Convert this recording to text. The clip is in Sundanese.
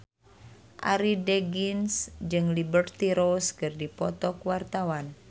Arie Daginks jeung Liberty Ross keur dipoto ku wartawan